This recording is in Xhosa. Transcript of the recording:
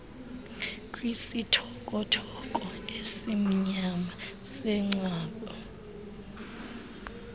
kwisithokothoko esimnyama sengcwaba